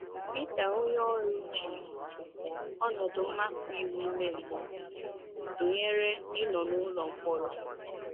Pita onyeoru ji ọnọdụ mmapụ iwu ime mmụọ a tụnyere ịnọ “ n’ụlọ mkpọrọ. ”